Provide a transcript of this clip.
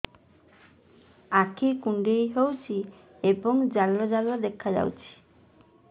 ଆଖି କୁଣ୍ଡେଇ ହେଉଛି ଏବଂ ଜାଲ ଜାଲ ଦେଖାଯାଉଛି